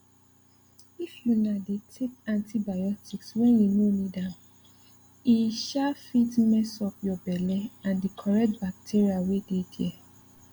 if una dey take antibiotics when you no need ame um fit mess up your belle and the correct bacteria wey dey there